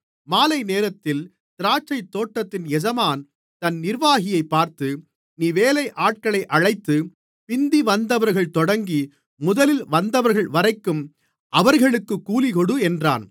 மாலைநேரத்தில் திராட்சைத்தோட்டத்தின் எஜமான் தன் நிர்வாகியைப் பார்த்து நீ வேலையாட்களை அழைத்து பிந்தி வந்தவர்கள் தொடங்கி முதலில் வந்தவர்கள்வரைக்கும் அவர்களுக்குக் கூலிகொடு என்றான்